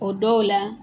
O dɔw la